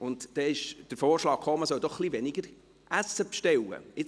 Aber dann kam der Vorschlag, dass man weniger Essen bestellen soll.